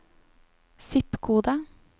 zip-kode